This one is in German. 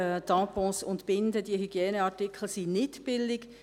Diese Tampons und Binden, diese Hygieneartikel sind nicht billig.